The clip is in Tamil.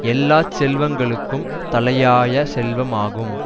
எல்லா செல்வங்களுக்கும் தலையாய செல்வமாகும்